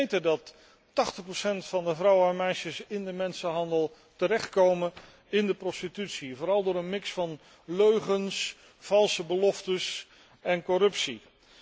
Wij weten dat 80 van de vrouwen en meisjes in de mensenhandel terechtkomen in de prostitutie, vooral door een mix van leugens, valse beloftes en corruptie.